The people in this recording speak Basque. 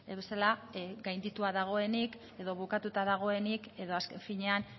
bezala gaindituta dagoenik edo bukatua dagoenik edo azken finean